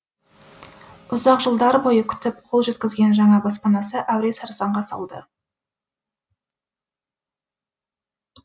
ұзақ жылдар бойы күтіп қол жеткізген жаңа баспанасы әуре сарсаңға салды